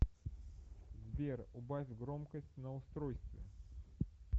сбер убавь громкость на устройстве